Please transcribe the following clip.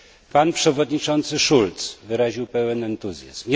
Pan przewodniczący Schulz wyraził pełny entuzjazm.